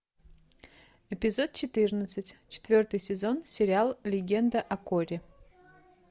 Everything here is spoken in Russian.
эпизод четырнадцать четвертый сезон сериал легенда о коре